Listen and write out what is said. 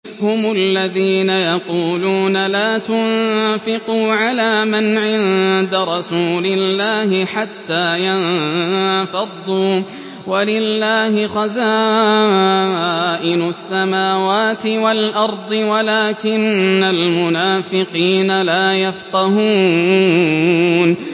هُمُ الَّذِينَ يَقُولُونَ لَا تُنفِقُوا عَلَىٰ مَنْ عِندَ رَسُولِ اللَّهِ حَتَّىٰ يَنفَضُّوا ۗ وَلِلَّهِ خَزَائِنُ السَّمَاوَاتِ وَالْأَرْضِ وَلَٰكِنَّ الْمُنَافِقِينَ لَا يَفْقَهُونَ